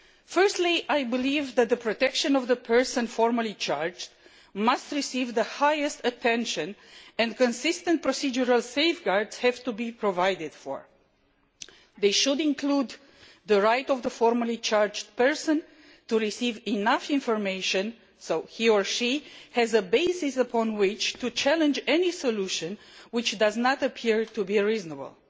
Firstly, I believe that the protection of persons formally charged must receive the highest attention and consistent procedural safeguards have to be provided for. These should include the right of the formally charged person to receive enough information for him or her to have a basis upon which to challenge any solution which does not appear to be reasonable.